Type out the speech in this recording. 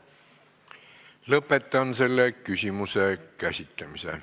Lõpetan selle küsimuse käsitlemise.